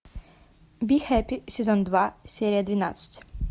бихэппи сезон два серия двенадцать